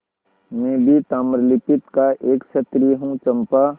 मैं भी ताम्रलिप्ति का एक क्षत्रिय हूँ चंपा